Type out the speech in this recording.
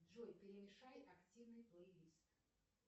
джой перемешай активный плейлист